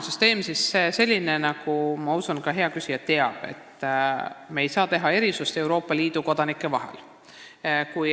Süsteem on selline – ma usun, et ka hea küsija teab seda –, et me ei saa Euroopa Liidu kodanike vahel erisusi teha.